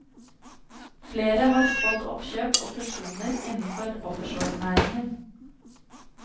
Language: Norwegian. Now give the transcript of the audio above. Flere har spådd oppkjøp og fusjoner innenfor offshorenæringen.